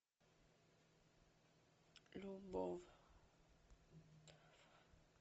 любовь